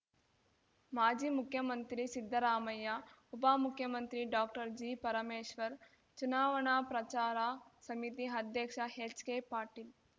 ಮಾಜಿ ಮುಖ್ಯಮಂತ್ರಿ ಸಿದ್ದರಾಮಯ್ಯ ಉಪಮುಖ್ಯಮಂತ್ರಿ ಡಾಕ್ಟರ್ ಜಿ ಪರಮೇಶ್ವರ್ ಚುನಾವಣಾ ಪ್ರಚಾರ ಸಮಿತಿ ಅಧ್ಯಕ್ಷ ಹೆಚ್ಕೆ ಪಾಟೀಲ್